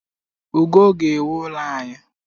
Ugo ga-ewu ụlọ anyị